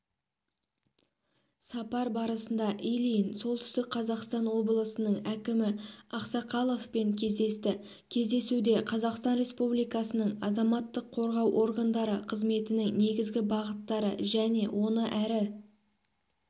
сапар барысында ильин солтүстік қазақстан облысының әкімі ақсақаловпен кездесті кездесуде қазақстан республикасының азаматтық қорғау органдары қызметінің негізгі бағыттары және оны әрі